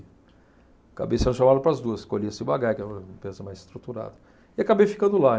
Acabei sendo chamado para as duas, escolhi a Ciba-Geig, que é uma empresa mais estruturada, e acabei ficando lá.